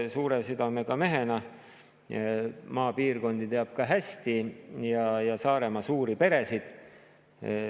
Suure südamega mehena teab Madis Kallas hästi ka maapiirkondi ja Saaremaa suuri peresid.